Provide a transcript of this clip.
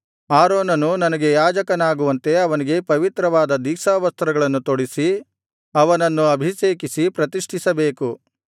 ಆರೋನನು ನನಗೆ ಯಾಜಕನಾಗುವಂತೆ ಅವನಿಗೆ ಪವಿತ್ರವಾದ ದೀಕ್ಷಾವಸ್ತ್ರಗಳನ್ನು ತೊಡಿಸಿ ಅವನನ್ನು ಅಭಿಷೇಕಿಸಿ ಪ್ರತಿಷ್ಠಿಸಬೇಕು